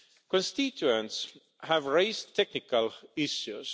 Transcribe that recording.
Constituents have raised technical issues.